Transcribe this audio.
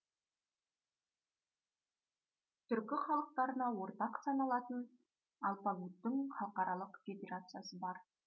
түркі халықтарына ортақ саналатын алпагуттың халықаралық федерациясы бар